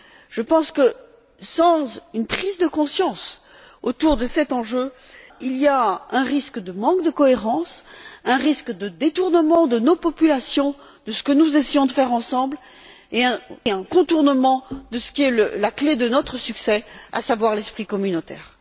Je pense que, sans une prise de conscience autour de cet enjeu, il y a un risque de manque de cohérence, un risque de détournement de nos populations de ce que nous essayons de faire ensemble et un contournement de ce qui est la clé de notre succès, à savoir l'esprit communautaire.